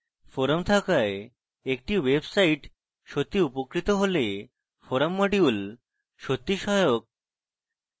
forum থাকায় একটি website সত্যিই উপকৃত হলে forum module সত্যিই সহায়ক